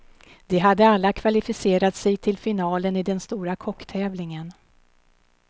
De hade alla kvalificerat sig till finalen i den stora kocktävlingen.